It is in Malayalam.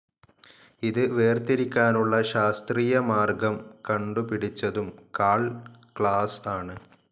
ഇത് വേർതിരിക്കാനുള്ള ശാസ്ത്രീയ മാർഗ്ഗം കണ്ടുപിടിച്ചതും കാൾ ക്ലാസ്‌ ആണ്.